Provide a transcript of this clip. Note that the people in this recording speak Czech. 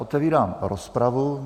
Otevírám rozpravu.